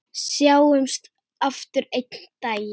Sjáumst aftur einn daginn.